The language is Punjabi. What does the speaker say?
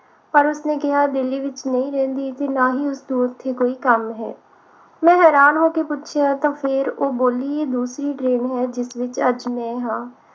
ਪਰ ਉਸਨੇ ਕਿਹਾ ਕਿ ਉਹ ਦਿੱਲੀ ਵਿਚ ਨਹੀਂ ਰਹਿੰਦੀ ਤੇ ਨਾ ਹੀ ਉਸਨੂੰ ਉਥੇ ਕੋਈ ਕੰਮ ਹੈ ਮੈਂ ਹੈਰਾਨ ਹੋ ਕੇ ਪੁੱਛਿਆ ਤਾਂ ਫਿਰ ਉਹ ਬੋਲੀ ਇਹ ਦੂਸਰੀ train ਹੈ ਜਿਸ ਵਿਚ ਅੱਜ ਮੈਂ ਹਾਂ